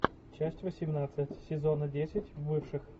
часть восемнадцать сезона десять бывших